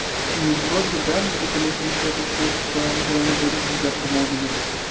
ну вроде да но только меня смущает то что у тебя натуральный логарифм взят по модулю